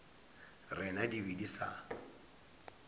rena di be di sa